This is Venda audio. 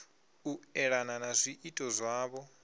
u elana na zwiito zwavho